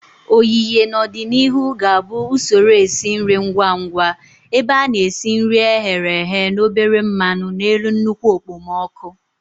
oyiye, n'ọdịnihu, ga-abụ usoro esi nri ngwa ngwa ebe a na-esi nri e ghere eghe na obere mmanu n'elu nnukwu okpomọkụ.